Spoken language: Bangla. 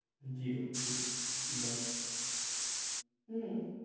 Zero কিচ্ছু নয় loss হম